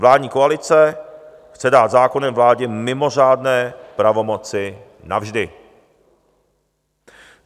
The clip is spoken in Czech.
Vládní koalice chce dát zákonem vládě mimořádné pravomoci navždy.